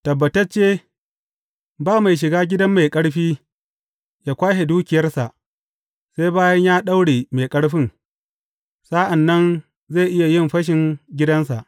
Tabbatacce, ba mai shiga gidan mai ƙarfi yă kwashe dukiyarsa, sai bayan ya daure mai ƙarfin, sa’an nan zai iya yin fashin gidansa.